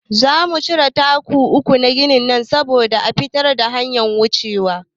Za mu cire taku uku daga ginin nan saboda a fitar da hanyar wucewa.